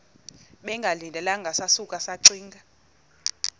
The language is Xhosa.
bengalindelanga sasuka saxinga